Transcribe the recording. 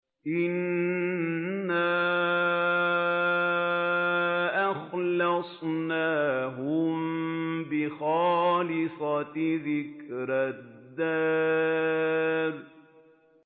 إِنَّا أَخْلَصْنَاهُم بِخَالِصَةٍ ذِكْرَى الدَّارِ